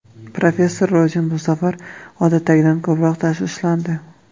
Professor Rozen bu safar odatdagidan ko‘proq tashvishlandi.